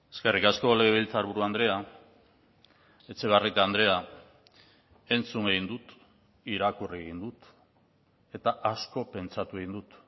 eskerrik asko legebiltzarburu andrea etxebarrieta andrea entzun egin dut irakurri egin dut eta asko pentsatu egin dut